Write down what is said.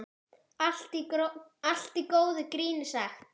Allt í góðu gríni sagt.